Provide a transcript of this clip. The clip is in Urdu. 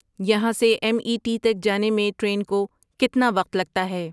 یہاں سے ایم ای ٹی تک جانے میں ٹرین کو کتنا وقت لگتا ہے